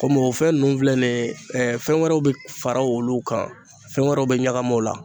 Kɔmi o fɛn ninnu filɛ nin ye, fɛn wɛrɛw bɛ fara olu kan, fɛn wɛrɛw bɛ ɲagami o la.